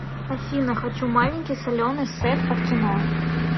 афина хочу маленький соленый сет под кино